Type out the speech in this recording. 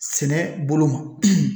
Sɛnɛ bolo ma